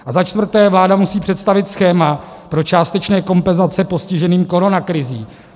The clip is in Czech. A za čtvrté, vláda musí představit schéma pro částečné kompenzace postiženým koronakrizí.